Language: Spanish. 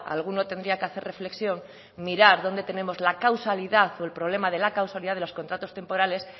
alguno tendría que hacer reflexión mirar dónde tenemos la causalidad o el problema de la causalidad de los contratos temporales